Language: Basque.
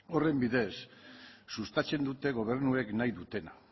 horren bidez sustatzen dute gobernuek nahi dutena